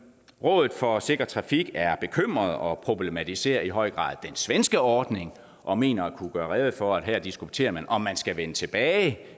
rådet for sikker trafik er bekymret og problematiserer i høj grad den svenske ordning og mener at kunne gøre rede for at her diskuterer man om man skal vende tilbage